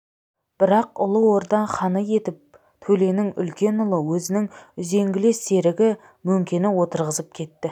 бірақ ұлы орда ханы етіп төленің үлкен ұлы өзінің үзеңгілес серігі мөңкені отырғызып кетті